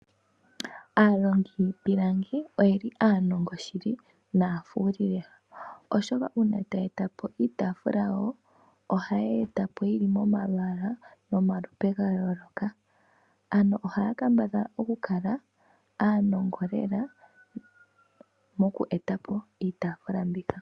Aalongi yiipilangi oyeli aanongo shili naafuli, oshoka uuna taya eta po iitaafula yawo ohaye yi eta po yili momalwaala nomalupe ga yooloka. Ano ohaya kambadhala okukala aanongo lela moku eta po iitaafula mbika.